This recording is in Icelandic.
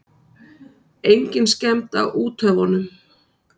Engin skemmd á úthöfunum.